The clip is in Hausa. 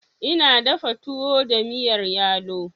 Ina dafa tuwo da miyar yalo.